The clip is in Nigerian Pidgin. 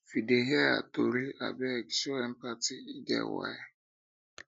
if you um dey um hear her tori abeg show empathy e um get why